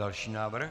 Další návrh.